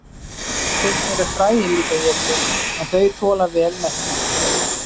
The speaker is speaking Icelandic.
stundum eru fræin líka étin en þau þola vel meltingu